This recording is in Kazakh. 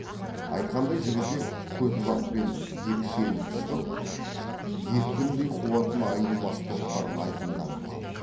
айтқандай жігітек көтібақпен екшеліп шығып екпіндей қуатын айнымас топтар айқынданып қалды